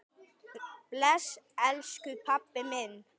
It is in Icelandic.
Bless, elsku pabbi minn.